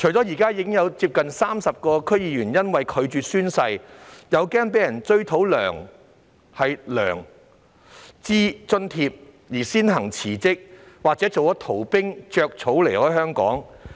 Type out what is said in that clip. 現時已有接近30名區議員因拒絕宣誓及擔心被追討薪酬津貼而先行辭職，或是當逃兵離開香港。